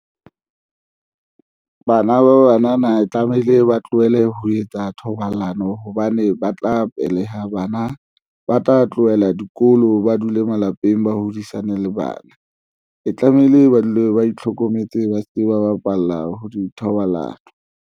Bana ba banana tlamehile ba tlohele ho etsa thobalano hobane ba tla beleha bana ba tla tlohela dikolo, ba dule malapeng ba hodisaneng le bana e tlamehile ba dule ba itlhokometse, ba se ke ba bapalla ho di thobalano.